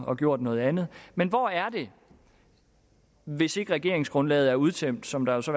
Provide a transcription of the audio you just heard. og gjort noget andet men hvor er det hvis ikke regeringsgrundlaget er udtømt som der jo så